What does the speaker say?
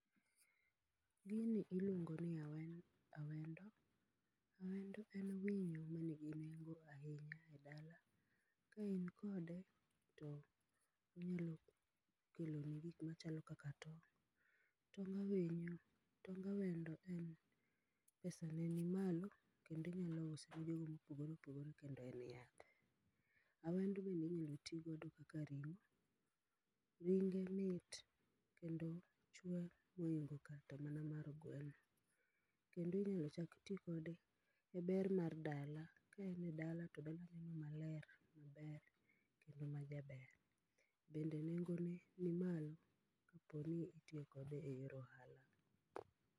Gini iluongoni awe awendo. Awendo en winyo manigi nengo ahinya edala. Kain gode to gino keloni gik machalo kaka tong'.Tong' awinyo tong awendo en pesane ni malo kendo inyalo usone jogo mopogore opogore kendo en yath. Awendo bende inyalo tii godo kaka ring'o ringe mit kendo chwe moingo kata mana mar gweno. Kendo inyalo chak tii kode eber mar dala kaine dala todala neno maler maber kendo majaber. Bende nengone ni malo kaponi itiyo kode eyor ohala.